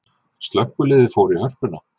Slökkviliðið fór í Hörpuna